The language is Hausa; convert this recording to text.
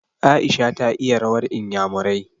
Aisha ta iya rawar inyamurai.